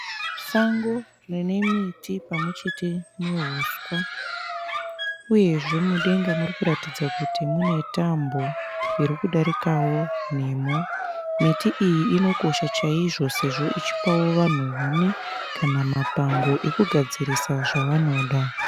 Sango rine miti pamwe chete neuswa. Uyezve mudenga muri kuratidza kuti mune tambo irikudarikawo nemo. Miti iyi inokosha chaizvo sezvo ichipawo vanhu huni kana mapango ekugadzirisa zvavanoda.